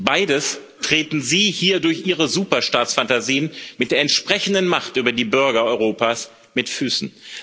Beides treten Sie hier durch Ihre Superstaatsphantasien mit der entsprechenden Macht über die Bürger Europas mit Füßen.